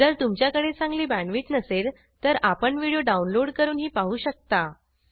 जर तुमच्याकडे चांगली बॅण्डविड्थ नसेल तर आपण व्हिडिओ डाउनलोड करूनही पाहू शकता